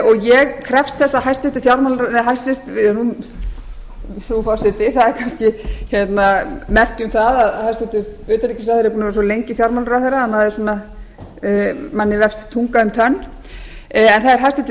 og ég krefst þess að hæstvirtur fjármála frú forseti það er kannski merki um það að hæstvirtur utanríkisráðherra er búinn að vera svo lengi fjármálaráðherra að manni vefst tunga um tönn en það er hæstvirtur